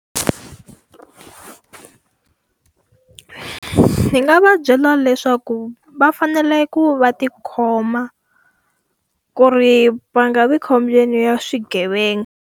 Ni nga va byela leswaku va fanele ku va ti khoma, ku ri va nga vi khombyeni ra swigevenga.